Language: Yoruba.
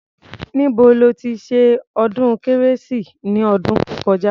Níbo lo ti ṣe ọdún kérésì ni ọdún tó kọjá?